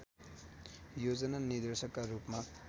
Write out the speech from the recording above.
योजना निर्देशकका रूपमा